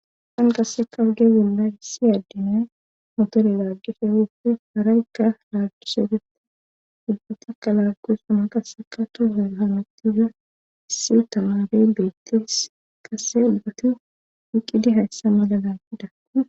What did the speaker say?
san qasse kabge gilla issi addine motore laaggife wupfe haraykka laaggisedete ubbatakka laaggu suma qasseka too hametiza issi u tamabe beettees kase ubbatu wiqidi hayssa maladan ida